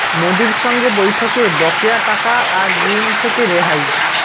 মোদীর সঙ্গে বৈঠকে বকেয়া টাকা আর ঋণ থেকে রেহাই